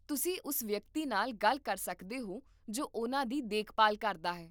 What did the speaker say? ਤੁਸੀਂ ਉਸ ਵਿਅਕਤੀ ਨਾਲ ਗੱਲ ਕਰ ਸਕਦੇ ਹੋ ਜੋ ਉਹਨਾਂ ਦੀ ਦੇਖਭਾਲ ਕਰਦਾ ਹੈ